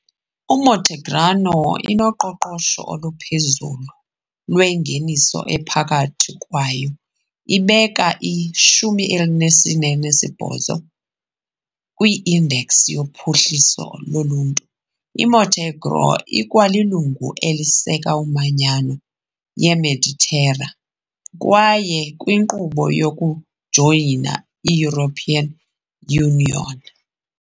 I-Montenegro inoqoqosho oluphezulu lwengeniso ephakathi kwaye ibeka i-48 kwi- Index yoPhuhliso loLuntu . IMontenegro ikwalilungu eliseka iManyano yeMeditera, kwaye ikwinkqubo yokujoyina i-European Union .